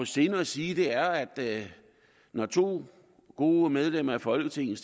sinde at sige er at når to gode medlemmer af folketinget